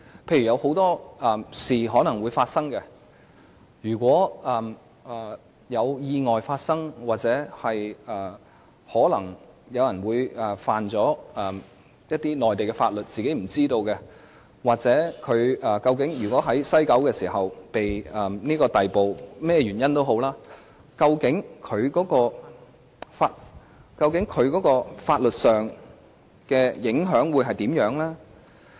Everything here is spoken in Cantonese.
到時，很多事也可能會發生，如果發生意外，如果有人觸犯內地法律而不自知，或不論甚麼原因，例如有乘客在西九龍總站被人逮捕，究竟對於他們相關的法律規範會有甚麼影響？